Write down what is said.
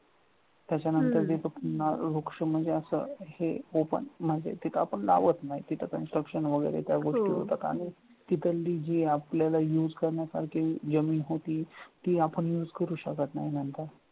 त्याच्यानंतर जे पुन्हा वृक्ष म्हणजे असं येऊ पण म्हणजे तिच नाव असणार तिथे construction वगैरे त्या गोष्टी होतात आणि तिथली जी आपल्याला use करण्यासारखी जी जमीन होती ती आपण use करू शकत नाही नंतर